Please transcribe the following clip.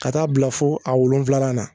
Ka t'a bila fo a wolonwulanan na